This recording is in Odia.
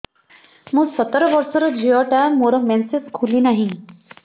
ମୁ ସତର ବର୍ଷର ଝିଅ ଟା ମୋର ମେନ୍ସେସ ଖୁଲି ନାହିଁ